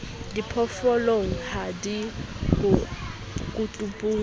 diphoofolong ha di yo kotulong